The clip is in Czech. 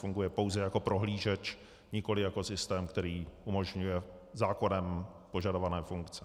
Funguje pouze jako prohlížeč, nikoli jako systém, který umožňuje zákonem požadované funkce.